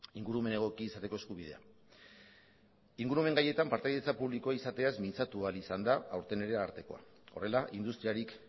ingurumen egokia izateko eskubidea ingurumen gaietan partaidetza publikoa izateaz mintzatu ahal izan da aurten ere arartekoa horrela industriarik